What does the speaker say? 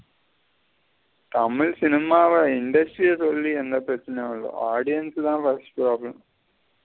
Tamil cinema வ industry ஆ சொல்லி எந்த பெரச்சனயு இல்ல audience தா first problem.